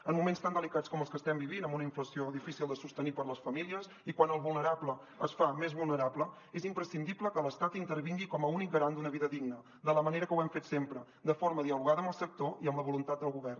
en moments tan delicats com els que estem vivint amb una inflació difícil de sostenir per a les famílies i quan el vulnerable es fa més vulnerable és imprescindible que l’estat intervingui com a únic garant d’una vida digna de la manera que ho hem fet sempre de forma dialogada amb el sector i amb la voluntat del govern